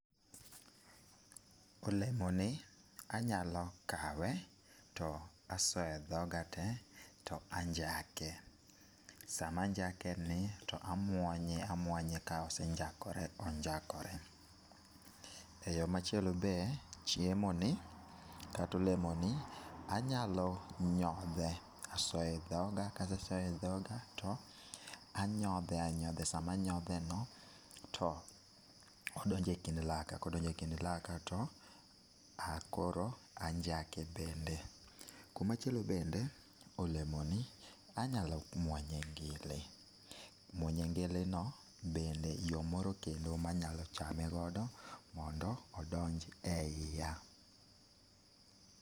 Olemoni anyalo kawe to asoyedhoga te to anjake, samanjakeni to amuonye amuonya kosenjakore onjakore. Eyo machielo be chiemo ni katolemoni, anyalo nyodhe, asoye e dhoga kase so e dhoga to anyodhe anyodha. E samanyodhe no to odonje kind laka, kodonje kind laka to ah koro anjake bende. Kumachielo bende, olemoni anyalo muonye ngili. Muonye ngili no bende yo moro kendo manyalochame godo mondo odonji e iya.